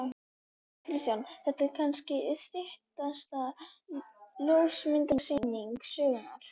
Kristján: Þetta er kannski stysta ljósmyndasýning sögunnar?